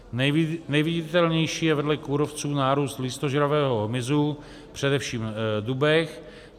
Nejviditelnější je vedle kůrovců nárůst listožravého hmyzu, především na dubech.